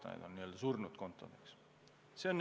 On olemas n-ö surnud kontod.